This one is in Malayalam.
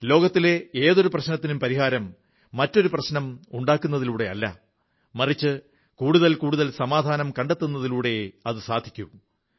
ലോകത്തിലെ ഏതൊരു പ്രശ്നത്തിനും പരിഹാരം മറ്റേതൊരു പ്രശ്നവും ഉണ്ടാക്കുന്നതിലൂടെയല്ല മറിച്ച് കൂടുതൽ കൂടുതൽ സമാധാനം കണ്ടെത്തുന്നതിലൂടെയേ സാധിക്കൂ